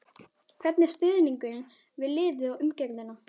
Hvernig er stuðningurinn við liðið og umgjörðin?